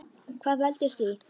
Hvað veldur því?